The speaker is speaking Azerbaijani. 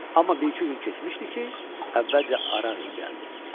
Amma bir-iki gün keçmişdi ki, əvvəlcə Araq İ gəldi.